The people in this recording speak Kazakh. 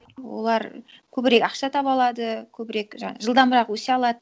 олар көбірек ақша таба алады көбірек жаңа жылдамырақ өсе алады